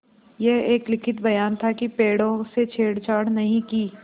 यह एक लिखित बयान था कि पेड़ों से छेड़छाड़ नहीं की